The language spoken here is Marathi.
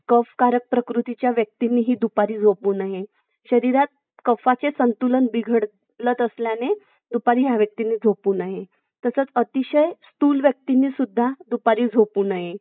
घेतील ना घेणारी मस्त आहेत देणारा पाहिजे.